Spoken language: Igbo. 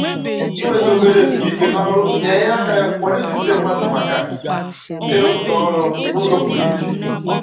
Inwetụ obere ezumike n'ọrụ na-enye aka kwalite uche mmadụ maka ịrụpụta ọrụ n'ụzọ pụrụ iche